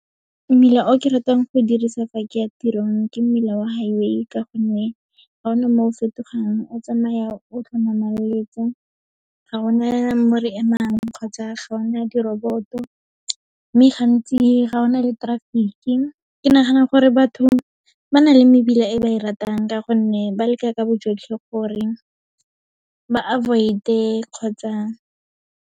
Mmila o ke ratang go dirisa fa ke ya tirong, ke mmila wa highway ka gonne, ga ona mo o fetogang, o tsamaya o ga gona mo re emang kgotsa ga ona di-robot-o, mme gantsi, ga ona le traffic-ki. Ke nagana gore batho ba na le mebila e ba e ratang, ka gonne ba leka ka bojotlhe gore ba avoid-e kgotsa.